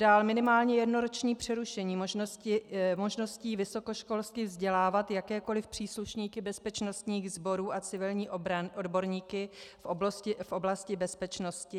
Dále minimálně jednoroční přerušení možností vysokoškolsky vzdělávat jakékoli příslušníky bezpečnostních sborů a civilní odborníky v oblasti bezpečnosti?